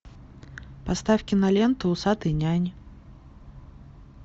поставь киноленту усатый нянь